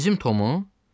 Bizim Tomu?